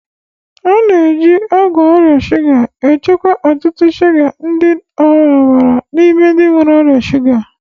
A na-eji ọgwụ ọrịa shuga achịkwa ọ̀tụ̀tụ̀ shuga dị n'ọbara n'ime ndị nwere ọrịa shuga